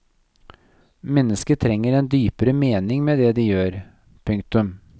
Mennesket trenger en dypere mening med det de gjør. punktum